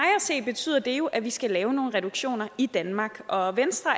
se betyder det jo at vi skal lave nogle reduktioner i danmark og venstre